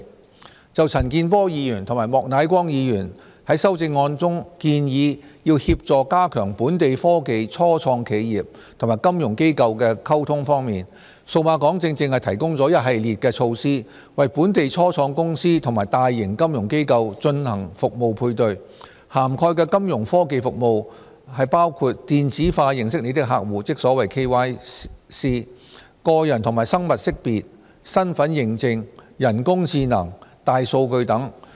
關於陳健波議員及莫乃光議員在修正案中建議協助加強本地科技初創企業和金融機構的溝通，數碼港正正提供了一系列的措施，為本地初創公司和大型金融機構進行服務配對，涵蓋的金融科技服務包括"電子化認識你的客戶"、個人和生物識別、身份認證、人工智能、大數據等。